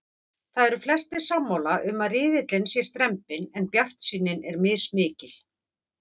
Það eru flestir sammála um að riðillinn sé strembinn en bjartsýnin er mismikil.